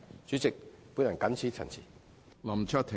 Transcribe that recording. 主席，我謹此陳辭。